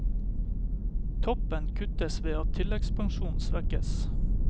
Toppen kuttes ved at tilleggspensjonene svekkes.